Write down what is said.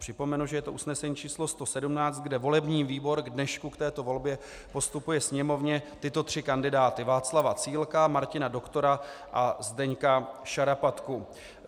Připomenu, že je to usnesení číslo 117, kde volební výbor k dnešku k této volbě postupuje Sněmovně tyto tři kandidáty: Václava Cílka, Martina Doktora a Zdeňka Šarapatku.